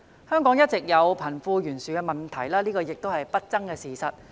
香港一直有貧富懸殊問題，這已是一個不爭的事實。